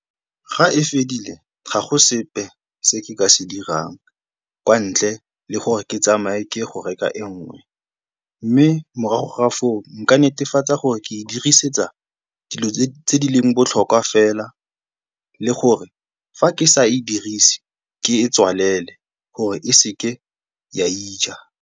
Ga e fedile ga go sepe se ke ka se dirang kwa ntle le gore ke tsamaye ke ye go reka e nngwe mme morago ga foo, nka netefatsa gore ke e dirisetsa dilo tse di leng botlhokwa fela le gore fa ke sa e dirise ke e tswalele gore e seke ya ija.